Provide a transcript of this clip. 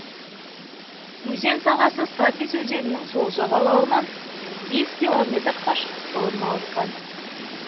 өзен сағасы сатис өзенінің сол жағалауынан бес километр қашықтықта орналасқан